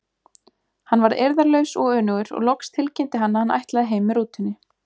Hann varð eirðarlaus og önugur og loks tilkynnti hann að hann ætlaði heim með rútunni.